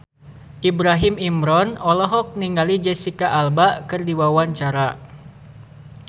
Ibrahim Imran olohok ningali Jesicca Alba keur diwawancara